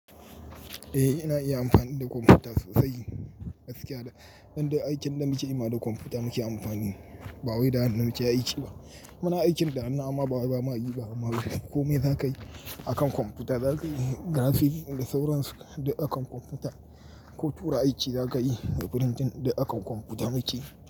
Eh, ina iya amfani da kwamfuta sosai. Gaskiya dan aikin da muke yi da kwamfuta muke amfani, ba wai da hannun mu ce aiki ba. Muna aikin da hannu amma ba ma yi ba. Komai za ka yi akan kwamfuta, za ka yi graph da sauransu akan kwamfuta ko tura aiki za ka yi da printing akan kwamfuta muke yi.